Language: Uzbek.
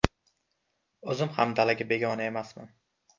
O‘zim ham dalaga begona emasman.